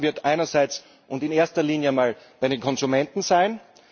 Der Schaden wird einerseits und in erster Linie mal bei den Konsumenten sein.